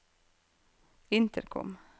intercom